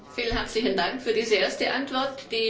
Vielen herzlichen Dank für diese erste Antwort.